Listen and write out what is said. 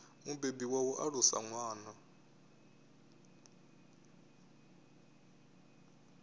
mubebi wa u alusa ṅwana